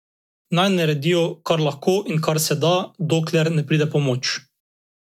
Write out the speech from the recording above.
Naj naredijo, kar lahko in kar se da, dokler ne pride pomoč.